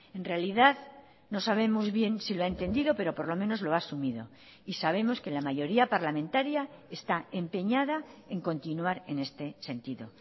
en realidad no sabemos bien si lo ha entendido pero por lo menos lo ha asumido y sabemos que la mayoría parlamentaria está empeñada en continuar en este sentido